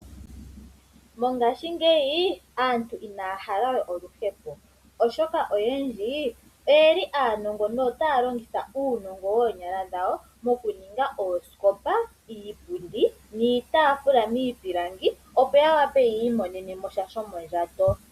Mongaashingeyi aantu inaya halawe oluhepo oshoka oyendji oyeli aanongo notaya longitha uunongo woonyala dhawo. Okuninga oosikopa, iipundi niitaafula miipilangi opo ya wape yi imonene mo sha shomondjato.